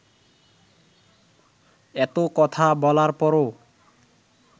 এত কথা বলার পরও